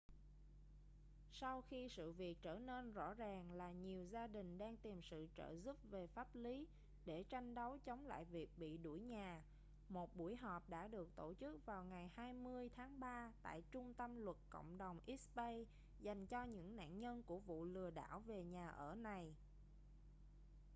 sau khi sự việc trở nên rõ ràng là nhiều gia đình đang tìm sự trợ giúp về pháp lý để tranh đấu chống lại việc bị đuổi nhà một buổi họp đã được tổ chức vào ngày 20 tháng ba tại trung tâm luật cộng đồng east bay dành cho những nạn nhân của vụ lừa đảo về nhà ở này